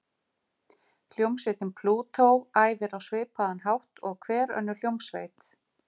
Hljómsveitin Plútó æfir á svipaðan hátt og hver önnur hljómsveit.